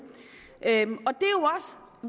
og